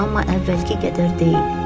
Amma əvvəlki qədər deyil.